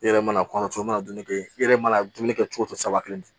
I yɛrɛ mana kɔnɔ i mana dumuni kɛ i yɛrɛ mana dumuni kɛ cogo o cogo sawati